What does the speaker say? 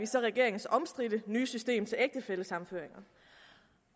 så regeringens omstridte nye system til ægtefællesammenføring